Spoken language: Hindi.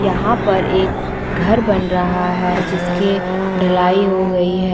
यहाँ पर एक घर बन रहा है जिसके ढलाई हो गई है।